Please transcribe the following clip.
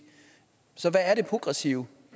så hvad er det progressive